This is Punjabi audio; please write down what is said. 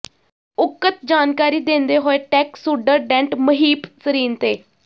ਉਕਤ ਜਾਣਕਾਰੀ ਦਿੰਦੇ ਹੋਏ ਟੈਕਸ ਸੁਡਰਡੈਂਟ ਮਹੀਪ ਸਰੀਨ ਤੇ